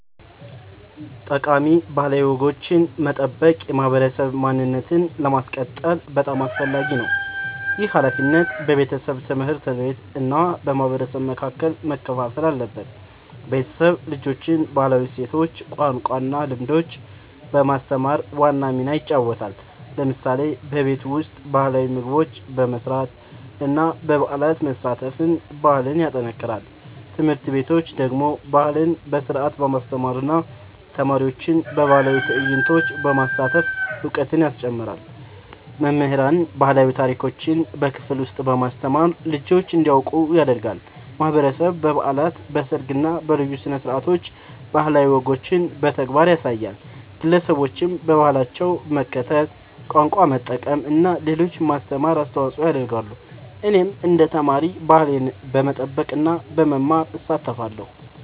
ጠቃሚ ባህላዊ ወጎችን መጠበቅ የማህበረሰብ ማንነትን ለማስቀጠል በጣም አስፈላጊ ነው። ይህ ሃላፊነት በቤተሰብ፣ ትምህርት ቤት እና በማህበረሰብ መካከል መከፋፈል አለበት። ቤተሰብ ልጆችን ባህላዊ እሴቶች፣ ቋንቋ እና ልምዶች በማስተማር ዋና ሚና ይጫወታል። ለምሳሌ በቤት ውስጥ ባህላዊ ምግቦች መስራት እና በበዓላት መሳተፍ ባህልን ያጠናክራል። ትምህርት ቤቶች ደግሞ ባህልን በስርዓት በማስተማር እና ተማሪዎችን በባህላዊ ትዕይንቶች በማሳተፍ እውቀት ያስጨምራሉ። መምህራን ባህላዊ ታሪኮችን በክፍል ውስጥ በማስተማር ልጆች እንዲያውቁ ያደርጋሉ። ማህበረሰብ በበዓላት፣ በሰርግ እና በልዩ ስነ-ስርዓቶች ባህላዊ ወጎችን በተግባር ያሳያል። ግለሰቦችም በባህላቸው መከተል፣ ቋንቋ መጠቀም እና ለሌሎች ማስተማር አስተዋጽኦ ያደርጋሉ። እኔም እንደ ተማሪ ባህሌን በመጠበቅ እና በመማር እሳተፋለሁ።